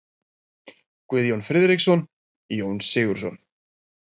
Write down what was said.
Guðjón Friðriksson: Jón Sigurðsson.